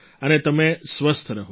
અને તમે સ્વસ્થ રહો